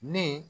Ne